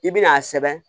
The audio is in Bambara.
I bɛn'a sɛbɛn